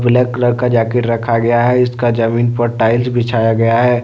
Black colour का jacket रखा गया है इसका जमीन पर टाइल्स बिछाया गया है।